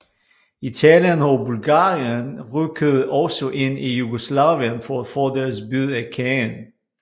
Italien og Bulgarien rykkede også ind i Jugoslavien for at få deres bid af kagen